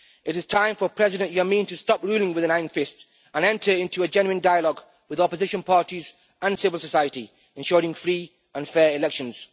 It is time for President Yameen to stop ruling with an iron fist and enter into a genuine dialogue with opposition parties and civil society, ensuring free and fair elections.